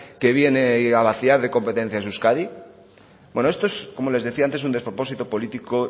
que viene a vaciar de competencias a euskadi bueno esto es como les decía antes un despropósito político